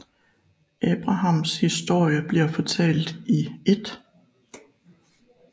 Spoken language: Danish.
Abrahams historie bliver fortalt i 1